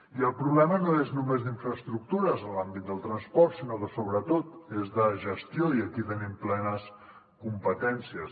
i el problema no és només d’infraestructures en l’àmbit del transport sinó que sobretot és de gestió i aquí hi tenim plenes competències